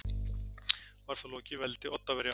Var þá lokið veldi Oddaverja.